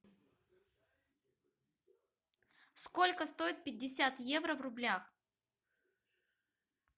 сколько стоит пятьдесят евро в рублях